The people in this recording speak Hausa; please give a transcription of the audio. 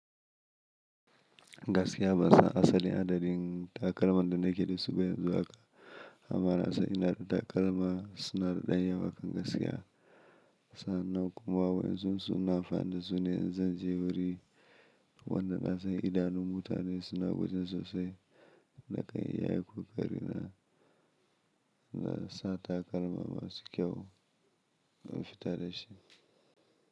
Gaskiya ba san asalin adadin takalman da na ke da su ba yanzu aka amma nasan ina da takalma suna da ɗan yawa kam gaskiya. Sannan kuma wai in sun su ina amfani da su ne in zan je wuri wanda nasan idanun mutane suna wurin sosai nakan yi iya ƙoƙari na, na sa takalma masu kyau na fita da shi.